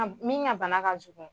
A b min ŋa bana ka jugun